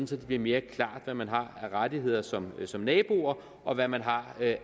så det bliver mere klart hvad man har af rettigheder som som nabo og hvad man har af